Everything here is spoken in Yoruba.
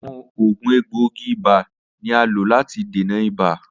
Awọn oògùn egboogi-iba ni a lo lati dena ibà.